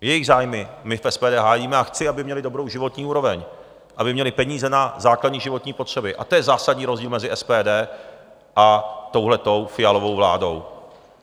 Jejich zájmy my v SPD hájíme a chci, aby měli dobrou životní úroveň, aby měli peníze na základní životní potřeby, a to je zásadní rozdíl mezi SPD a touto Fialovou vládou.